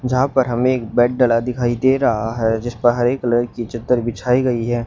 जहां पर हमें एक बेड डाला दिखाई दे रहा है जिसपर हरे रंग की चादर बिछ गई है।